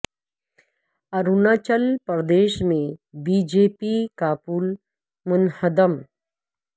اروناچل پردیش میں B J P کا پل منہدم